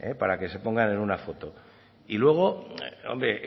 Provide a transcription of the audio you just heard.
para que se pongan en una foto y luego hombre